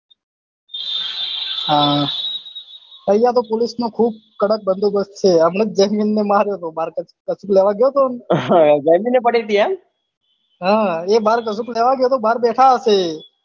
આહ અહિયાં તો police ખુબ કડક બન્દોબસ્સ્ત છે હમણાં જ જૈમીન ને માર્યો હતો કસુક લેવા જયો હતો જૈમીન ને પડી હતી એમ હ એ બાર કસુક લેવા હતો બાર બેઠા હશે